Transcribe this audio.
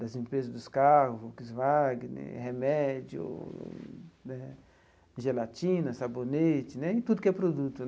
das empresas dos carros, Volkswagen né, remédio né, gelatina, sabonete, tudo que é produto.